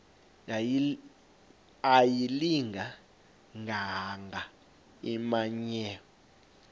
ayilinga gaahanga imenywe